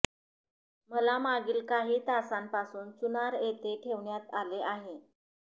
मला मागील काही तासांपासून चुनार येथे ठेवण्यात आले आहे